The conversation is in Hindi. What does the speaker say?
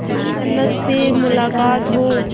जन्नत से मुलाकात हो